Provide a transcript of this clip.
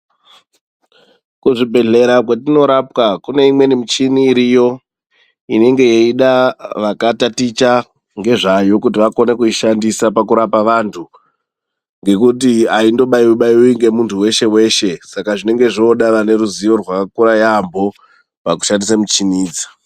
Kuzvibhedhlera kwetinorapwa kune imweni michini iriyo. Inenge yeida vakataticha ngezvayo kuti vakone kuishandisa pakurapa vantu. Ngekuti haindobaiwi-baiwi ngemuntu weshe-weshe, saka zvinenge zvooda vane ruzivo rwakakura yaambo pakushandise muchini idzi.